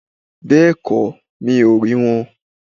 Bẹ́ẹ̀kó, mi ò rí won